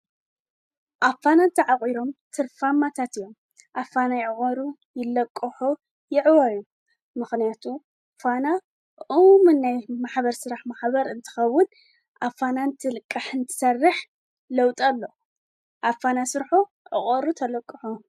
ዕቋር፣ ልቓሕ፣ ካልእ ናይ ባንክ ኣገልግሎት ዝህባ ፋይናንሳዊ ትካላት እየን። ባንክታት ብንግዳዊ መሰረት ክሰርሓ እንከለዋ፡ ሕብረት ስራሕ ማሕበራት ድማ ብኣባላተን ዝውነናን ዝቆጻጸራን እየን። ክልቲኦም ንፋይናንሳዊ ድሌታት ውልቀሰባት፡ ትካላት ንግድን ማሕበረሰባትን ይድግፉ።